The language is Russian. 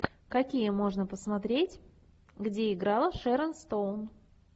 какие можно посмотреть где играла шэрон стоун